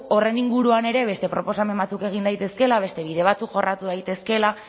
horren inguruan ere beste proposamen batzuk egin daitezkeela beste bide batzuk jorratu daitezkeela